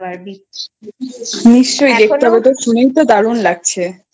নিশ্চই দেখতে হবে তো শুনে তো দারুন লাগছে